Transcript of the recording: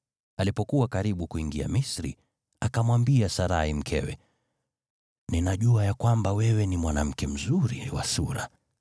Alipokuwa karibu kuingia Misri, akamwambia Sarai mkewe, “Ninajua ya kwamba wewe ni mwanamke mzuri wa sura.